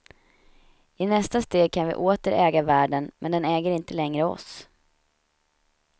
I nästa steg kan vi åter äga världen men den äger inte längre oss.